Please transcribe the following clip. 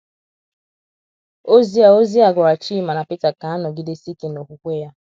Ozi a Ozi a gwara Chima na Peter ka a nọgidesi ike n’okwukwe ya.